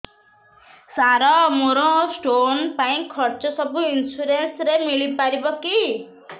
ସାର ମୋର ସ୍ଟୋନ ପାଇଁ ଖର୍ଚ୍ଚ ସବୁ ଇନ୍ସୁରେନ୍ସ ରେ ମିଳି ପାରିବ କି